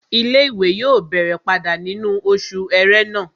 Ilé-ìwé yóò bẹ̀rẹ̀ padà nínú oṣù ẹrẹ́nà